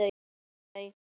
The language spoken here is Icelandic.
Hvar enda þau?